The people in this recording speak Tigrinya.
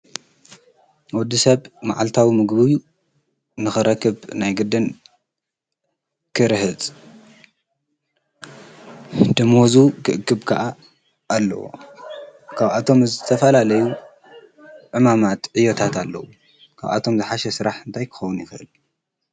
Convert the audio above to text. ወዲሰብ መዓልታዊ ምግቡ ንክረክብ ናይ ግድን ክርህፅ ደሞዙ ክእክብ ከዓ ኣለዎ::ካብኣቶም ዝተፈላለዩ ዕማማት ዕዮታት ኣለው:: ካብ እቶም ዝሓሸ ስራሕ እንታይ ክከውን ይክእል?